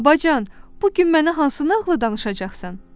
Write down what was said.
Babacan, bu gün mənə hansı nağılı danışacaqsan?